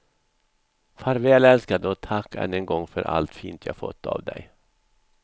Farväl älskade och tack än en gång för allt fint jag fått av dig.